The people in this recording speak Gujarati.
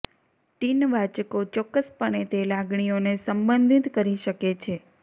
ટીન વાચકો ચોક્કસપણે તે લાગણીઓને સંબંધિત કરી શકે છે